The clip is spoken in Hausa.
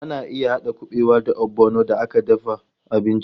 Ana iya haɗa kuɓewa da ogbono a dafa abinci.